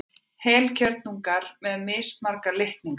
Heilkjörnungar eru með mismarga litninga.